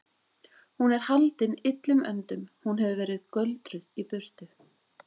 Hún er haldin illum öndum. hún hefur verið göldruð í burtu.